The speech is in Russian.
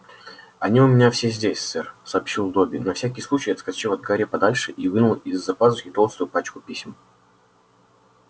они у меня все здесь сэр сообщил добби на всякий случай отскочив от гарри подальше и вынул из-за пазухи толстую пачку писем